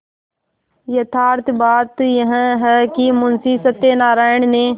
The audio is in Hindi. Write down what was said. यथार्थ बात यह है कि मुंशी सत्यनाराण ने